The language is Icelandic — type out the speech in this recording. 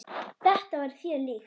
Þetta var þér líkt.